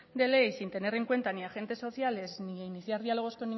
de ley sin tener en cuenta ni a agentes sociales ni iniciar diálogos